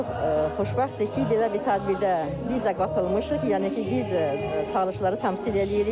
Çox xoşbəxtdir ki, belə bir tədbirdə biz də qatılmışıq, yəni ki, biz Talışları təmsil eləyirik.